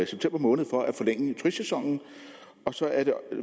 september måned for at forlænge turistsæsonen og så er der